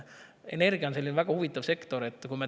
Energia on väga huvitav sektor.